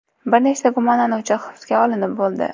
Bir nechta gumonlanuvchi hibsga olinib bo‘ldi.